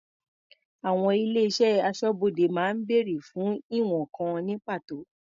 Àwọn ilé-iṣẹ́ aṣọ́bodè máa ń bèrè fún ìwọ̀n kan ní pàtó.